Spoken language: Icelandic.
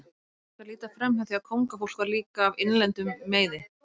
Ekki er hægt að líta framhjá því að kóngafólk var líka af innlendum meiði.